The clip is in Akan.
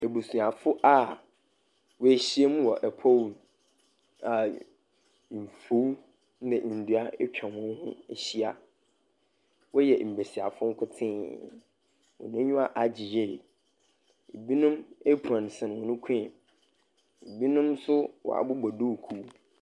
Ebusiafo a woehyia mu wɔ pɔw mu a mfuw ne ndua etwa hɔn ho ehyia. Wɔhyɛ mbesiafo nkotsee. Hɔn enyiwa agye yie. Binom, apron sɛn hɔn kɔn mu. Binom nso wɔabobɔ duukuu.